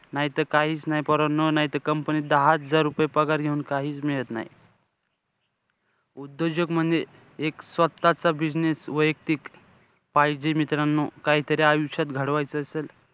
नाहीतर काहीचं नाई पोरांनो. नाहीत company त दहा हजार पगार घेऊन काहीचं मिळत नाई. उद्योजक म्हणजे एक स्वतःचा business वैयक्तिक पाहिजे मित्रांनो. काहीतरी आयुष्यात घडवायचं असेल,